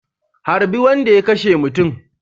Harbi wanda ya kashemutun